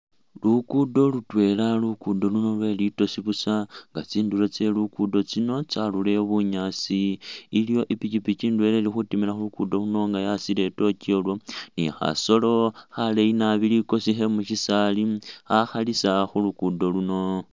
Lugudo lutwela lugudo luno lwelitosi busa nga tsindulo tselugudo tsino tsarulile bunyasi iliwo ipikipiki indwela ilikhutimila khulugudo luno nga yasile i'tourch ni khasolo khaleyi naabi likosi khemukyisali hakalisa khulukudo luno.